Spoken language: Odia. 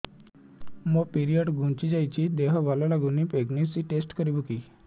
ମୋ ପିରିଅଡ଼ ଘୁଞ୍ଚି ଯାଇଛି ଦେହ ଭଲ ଲାଗୁନି ପ୍ରେଗ୍ନନ୍ସି ଟେଷ୍ଟ କରିବୁ କି